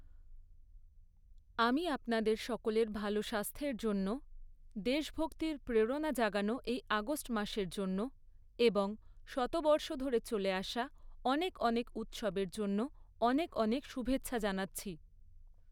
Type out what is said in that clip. আমি আপনাদের সকলের ভালো স্বাস্থ্যের জন্য, দেশভক্তির প্রেরণা জাগানো এই আগষ্ট মাসের জন্য এবং শতবর্ষ ধরে চলে আসা অনেক অনেক উৎসবের জন্য অনেক অনেক শুভেচ্ছা জানাচ্ছি।